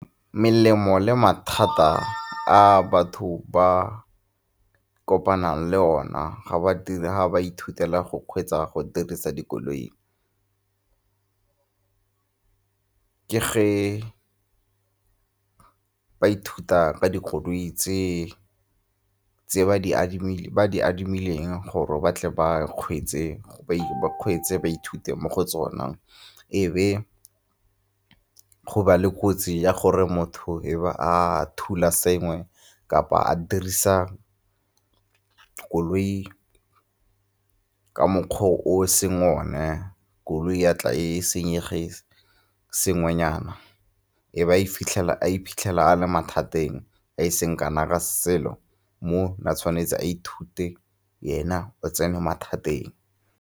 Melemo le mathata a batho ba kopanang le ona ga ba ithutela go kgweetsa, go dirisa dikoloi, ke ge ba ithuta ka dikoloi tse ba di adimileng gore ba tle ba kgweetse ba ithute mo go tsona. E be go ba le kotsi ya gore motho e be a thula sengwe kapa a dirisa koloi ka mokgwa o e seng one, koloi ya ya tla e senyegile sengwenyana, e ba a iphitlhela a le mathateng a e seng kana ka selo mo ne a tshwanetse a ithute, yena o tsene mathateng.